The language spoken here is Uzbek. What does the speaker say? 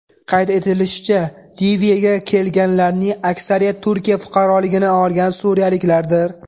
Qayd etilishicha, Liviyaga kelganlarning aksariyati Turkiya fuqaroligini olgan suriyaliklardir.